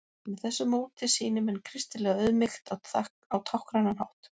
með þessu móti sýni menn kristilega auðmýkt á táknrænan hátt